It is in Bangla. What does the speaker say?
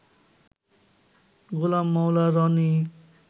গোলাম মাওলা রনি